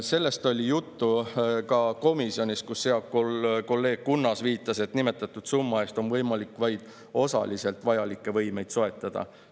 Sellest oli juttu ka komisjonis, kus hea kolleeg Kunnas viitas, et nimetatud summa eest on vaid osaliselt võimalik vajalikke võimeid soetada.